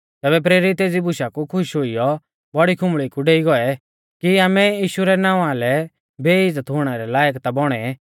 तैबै प्रेरित एज़ी बुशा कु खुश हुइयौ बौड़ी आराधनालय कु डेई गौऐ कि आमै यीशु रै नावां लै बेइज़्ज़त हुणै रै लायक ता बौणै